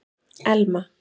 Elma